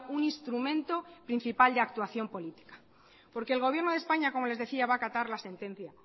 un instrumento principal de actuación política porque el gobierno de españa como les decía va a acatar la sentencia